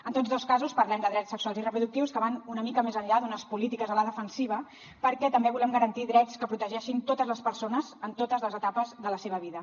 en tots dos casos parlem de drets sexuals i reproductius que van una mica més enllà d’unes polítiques a la defensiva perquè també volem garantir drets que protegeixin totes les persones en totes les etapes de la seva vida